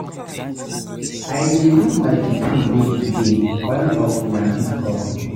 I dey give my pikin name today, all of una fit come.